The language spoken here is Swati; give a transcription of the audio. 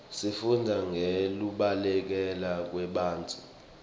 sifundza ngekubaluleka kwebantfu